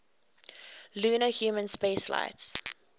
lunar human spaceflights